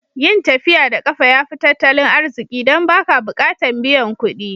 Yin tafiya da kafa ya fi tattalin arziki dan ba ka bukatan biyan kuɗi.